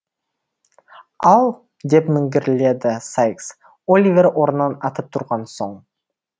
ал деп міңгірледі сайкс оливер орнынан атып тұрған соң